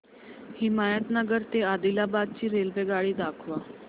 हिमायतनगर ते आदिलाबाद ची रेल्वेगाडी दाखवा